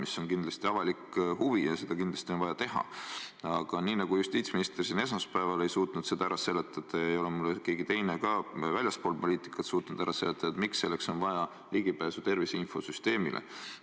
See on kindlasti avalik huvi ja seda kindlasti on vaja teha, aga nii nagu justiitsminister siin esmaspäeval ei suutnud seda ära seletada, ei ole mulle keegi teine ka väljaspool poliitikat suutnud ära seletada, miks selleks on vaja ligipääsu tervise infosüsteemile.